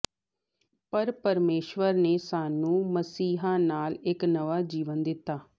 ਪਰ ਪਰਮੇਸ਼ੁਰ ਨੇ ਸਾਨੂੰ ਮਸੀਹ ਨਾਲ ਇੱਕ ਨਵਾਂ ਜੀਵਨ ਦਿੱਤਾ